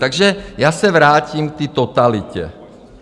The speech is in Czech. Takže já se vrátím k té totalitě.